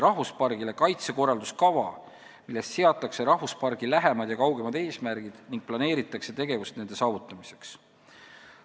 Samuti koostatakse kaitsekorralduskava, milles seatakse rahvuspargi lähemad ja kaugemad eesmärgid ning planeeritakse tegevusi nende saavutamiseks.